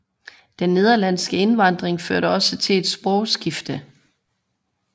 Den nederlandske indvandring førte også til et sprogskifte